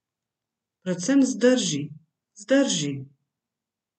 Predvsem zdrži, zdrži.